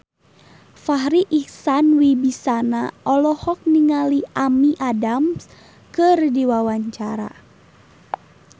Farri Icksan Wibisana olohok ningali Amy Adams keur diwawancara